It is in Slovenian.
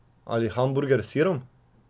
Ali hamburger s sirom?